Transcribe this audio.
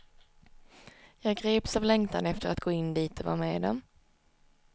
Jag greps av längtan efter att gå in dit och vara med dem.